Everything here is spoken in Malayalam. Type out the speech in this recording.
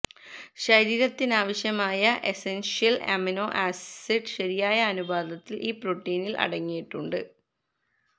ശരീരത്തിനാവശ്യമായ എസൻഷ്യൽ അമിനോ ആസിഡ് ശരിയായ അനുപാതത്തിൽ ഈ പ്രോട്ടീനിൽ അടങ്ങിയിട്ടുണ്ട്